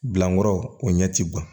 Dilankɔrɔ o ɲɛ ti bɔ